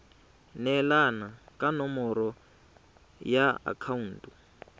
neelana ka nomoro ya akhaonto